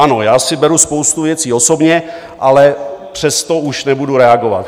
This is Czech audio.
Ano, já si beru spoustu věcí osobně, ale přesto už nebudu reagovat.